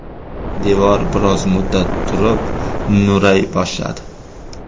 Devor biroz muddat turib, nuray boshladi.